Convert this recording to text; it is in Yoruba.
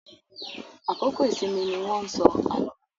Àkókò ìsinmi ni wọ́n ń sọ àlọ́.